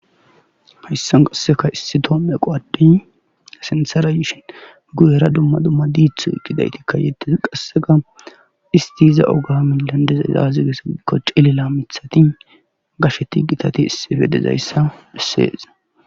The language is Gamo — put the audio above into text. hayssan qasseka issi toomme eqo addey asinsarayishin guyera dumma dumma diithu gidaytikkayetez qassega isti iza oga mi landezazazigesa ikko cele la mithati gasheti gitati issibe dezayssa bessees